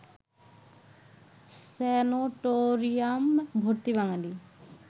sanatorium ভর্তি বাঙালি